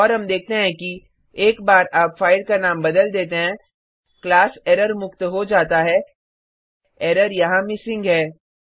और हम देखते हैं कि एक बार आप फाइल का नाम बदल देते हैं क्लास एरर मुक्त हो जाता है एरर यहाँ मिसिंग है